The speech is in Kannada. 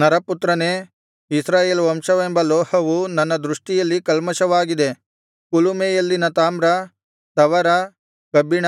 ನರಪುತ್ರನೇ ಇಸ್ರಾಯೇಲ್ ವಂಶವೆಂಬ ಲೋಹವು ನನ್ನ ದೃಷ್ಟಿಯಲ್ಲಿ ಕಲ್ಮಷವಾಗಿದೆ ಕುಲುಮೆಯಲ್ಲಿನ ತಾಮ್ರ ತವರ ಕಬ್ಬಿಣ